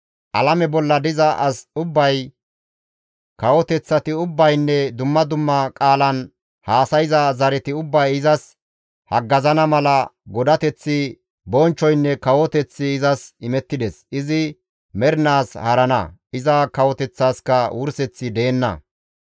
Alame bolla diza as ubbay, kawoteththati ubbaynne dumma dumma qaalan haasayza zareti ubbay izas haggazana mala godateththi, bonchchoynne kawoteththi izas imettides; izi mernaas haarana; iza kawoteththaskka wurseththi deenna.